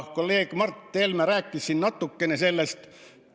Kolleeg Mart Helme rääkis siin natukene sellest.